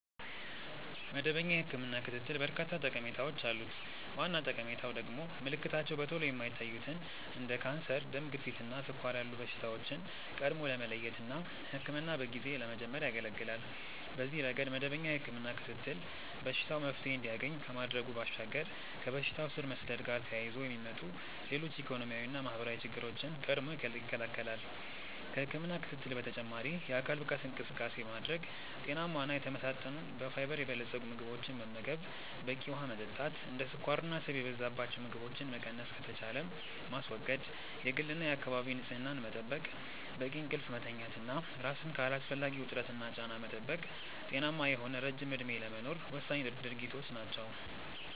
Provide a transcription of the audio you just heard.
መደበኛ የህክምና ክትትል በርካታ ጠቀሜታዎች አሉት። ዋና ጠቀሜታው ደግሞ ምልክታቸው በቶሎ የማይታዩትን እንደ ካንሰር፣ ደም ግፊት እና ስኳር ያሉ በሽታዎችን ቀድሞ ለመለየት እና ህክምናን በጊዜ ለመጀመር ያገለገላል። በዚህ ረገድ መደበኛ የህክምና ክትትል በሽታው መፍትሔ እንዲያገኝ ከማድረጉ ባሻገር ከበሽታው ስር መስደድ ጋር ተያይዞ የሚመጡ ሌሎች ኢኮኖሚያዊና ማህበራዊ ችግሮችን ቀድሞ ይከለከላል። ከህክምና ክትትል በተጨማሪ የአካል ብቃት እንቅስቃሴ ማድረግ፣ ጤናማ እና የተመጣጠኑ በፋይበር የበለፀጉ ምግቦችን መመገብ፣ በቂ ውሀ መጠጣት፣ እንደ ስኳርና ስብ የበዛባቸው ምግቦችን መቀነስ ከተቻለም ማስወገድ፣ የግልና የአካባቢ ንጽህና መጠበቅ፣ በቂ እንቅልፍ መተኛት እና ራስን ከአላስፈላጊ ውጥረትና ጫና መጠበቅ ጤናማ የሆነ ረጅም እድሜ ለመኖር ወሳኝ ድርጊቶች ናቸው።